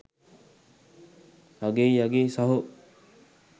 අගෙයි අගෙයි සහෝ